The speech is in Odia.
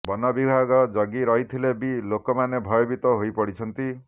ବନ ବିଭାଗ ଜଗି ରହିଥିଲେ ବି ଲୋକମାନେ ଭୟଭୀତ ହୋଇପଡ଼ିଛନ୍ତି